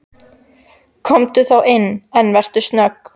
Komdu þá inn, en vertu snögg.